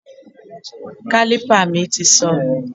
Kálípà mi ti sọnù